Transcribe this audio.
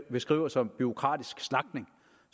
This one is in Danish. beskriver som bureaukratisk slagtning